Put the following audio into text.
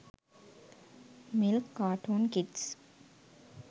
milk carton kids